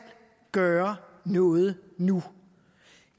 gøre noget nu